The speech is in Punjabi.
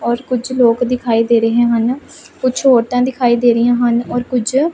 ਔਰ ਕੁਝ ਲੋਕ ਦਿਖਾਈ ਦੇ ਰਹੇ ਹਨ ਕੁਝ ਔਰਤਾਂ ਦਿਖਾਈ ਦੇ ਰਹੀਆਂ ਹਨ ਔਰ ਕੁਝ--